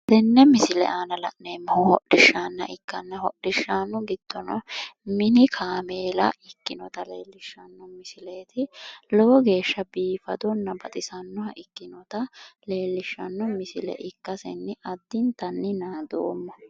tenne misile aana la'neemmohu hodhishaanna ikkanna hodhishshaanu giddono mini kaameela ikkinota leellishshanno misileeti lowo geeshsha biifadonna baxisannoha ikkinota leellishshanno misile ikkasenni addintanni naadoomma.